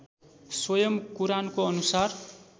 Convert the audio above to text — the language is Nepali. स्वयं कुरानको अनुसार